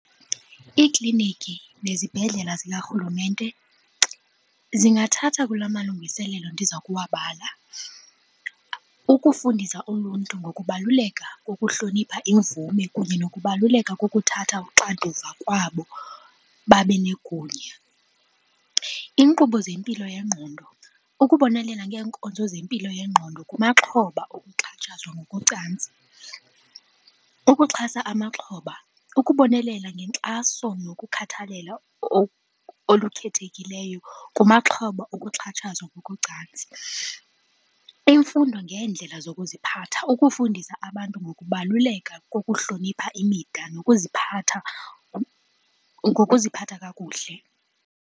Iikliniki nezibhedlela zikarhulumente zingathatha kula malungiselelo ndiza kuwabala. Ukufundisa uluntu ngokubaluleka kokuhlonipha imvume kunye nokubaluleka kokuthatha uxanduva kwabo babe negunya. Iinkqubo zempilo yengqondo, ukubonelela ngeenkonzo zempilo yengqondo kumaxhoba okuxhatshazwa ngokocantsi. Ukuxhasa amaxhoba, ukubonelela ngenkxaso nokukhathalela olukhethekileyo kumaxhoba okuxhatshazwa ngokocantsi. Imfundo ngeendlela zokuziphatha, ukufundisa abantu ngokubaluleka kokuhlonipha imida nokuziphatha ngokuziphatha kakuhle.